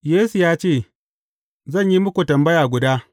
Yesu ya ce, Zan yi muku tambaya guda.